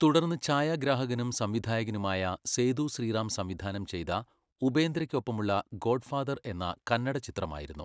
തുടർന്ന് ഛായാഗ്രാഹകനും സംവിധായകനുമായ സേതു ശ്രീറാം സംവിധാനം ചെയ്ത ഉപേന്ദ്രയ്ക്കൊപ്പമുള്ള ഗോഡ്ഫാദർ എന്ന കന്നഡ ചിത്രമായിരുന്നു.